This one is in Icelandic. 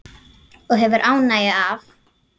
Og hefur ánægju af.